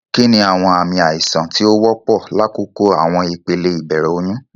Kini awọn aami aisan ti o wọpọ lakoko awọn ipele ibẹrẹ oyun?